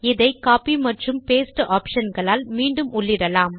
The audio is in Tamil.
இதை கோப்பி மற்றும் பாஸ்டே ஆப்ஷன் களால் மீண்டும் உள்ளிடலாம்